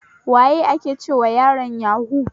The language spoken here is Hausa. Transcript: Waye ake cewa yaron yahu?